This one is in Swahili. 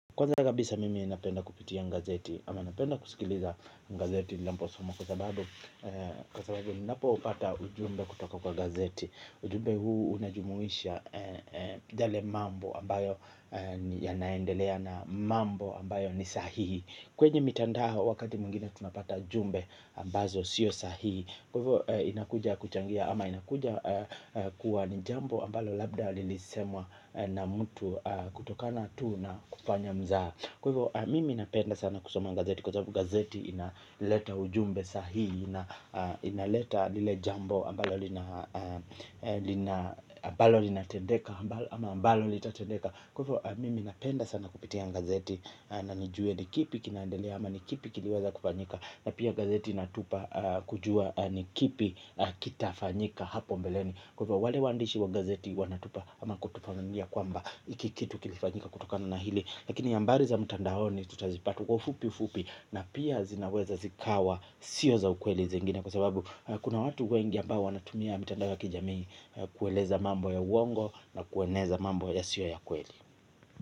Kwanza kabisa mimi napenda kupitia gazeti ama napenda kusikiliza gazeti ninaposoma kwa sababu kwa sababu ninapopata ujumbe kutoka kwa gazeti. Ujumbe huu unajumuisha yale mambo ambayo yanaendelea na mambo ambayo ni sahihi. Kwenye mitandao wakati mwengine tunapata jumbe ambazo sio sahihi. Kwaivo inakuja kuchangia ama inakuja kuwa ni jambo ambalo labda lilisemwa na mtu kutokana tu na kufanya mzaha. Kwaivo mimi napenda sana kusoma gazeti kwa sabu gazeti inaleta ujumbe sahihi inaleta lile jambo ambalo linatendeka ama ambalo litatendeka. Kwaivo mimi napenda sana kupitia gazeti na nijue ni kipi kinaendelea ama ni kipi kiliweza kufanyika na pia gazeti inatupa kujua ni kipi kitafanyika hapo mbeleni kwaivo wale waandishi wa gazeti wanatupa ama kutufafanulia kwamba hiki kitu kilifanyika kutokana na hili lakini hambari za mtandaoni tutazipata kwavufupi ufupi na pia zinaweza zikawa sio za ukweli zingine kwa sababu kuna watu wengi ambao wanatumia mitandao ya kijamii kueleza mambo ya uongo na kueleza mambo yasio ya kweli.